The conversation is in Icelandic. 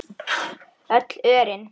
Öll örin.